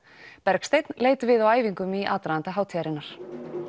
Bergsteinn leit við á æfingum í aðdraganda hátíðarinnar